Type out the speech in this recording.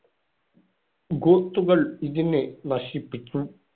ഗോത്തുകൾ ഇതിനെ നശിപ്പിച്ചു.